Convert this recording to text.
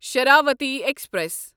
Sharavathi express